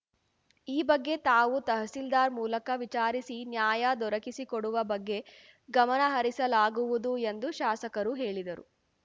ಈ ಬಗ್ಗೆ ತಾವು ತಹಸೀಲ್ದಾರ್‌ ಮೂಲಕ ವಿಚಾರಿಸಿ ನ್ಯಾಯ ದೊರಕಿಸಿ ಕೊಡುವ ಬಗ್ಗೆ ಗಮನಹರಿಸಲಾಗುವುದು ಎಂದು ಶಾಸಕರು ಹೇಳಿದರು